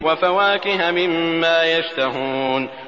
وَفَوَاكِهَ مِمَّا يَشْتَهُونَ